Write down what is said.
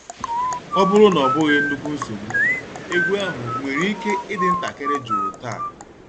Ọ bụrụ na ọ bụghị nnukwu nsogbu, egwu ahụ nwere ike ịdị ntakịrị jụụ taa?